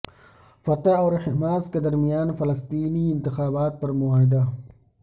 فتح اور حماس کے درمیان فلسطینی انتخابات پر معاہدہ